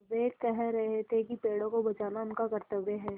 वे कह रहे थे कि पेड़ों को बचाना उनका कर्त्तव्य है